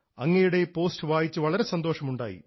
അങ്ങയുടെ ഈ പോസ്റ്റ് വായിച്ച് വളരെ സന്തോഷം ഉണ്ടായി